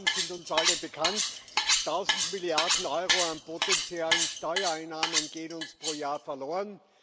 Die Zahlen sind uns alle bekannt Tausend Milliarden Euro an potenziellen Steuereinnahmen gehen uns pro Jahr verloren.